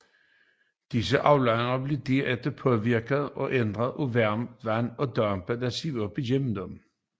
Disse aflejringer blev derefter påvirket og ændret af det varme vand og dampen der sivede op gennem dem